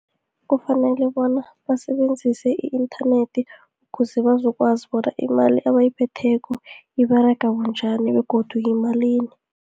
Kufanele bona basebenzise i-inthanethi ukuze bazokwazi bona imali abayiphetheko iberega bunjani, begodu yimalini.